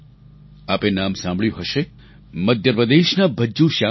આપે નામ સાંભળ્યું હશે મધ્યપ્રદેશના ભજ્જૂ શ્યામ વિશે